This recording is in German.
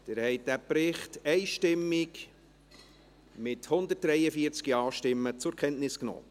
Sie haben diesen Bericht einstimmig, mit 143 Ja-Stimmen, zur Kenntnis genommen.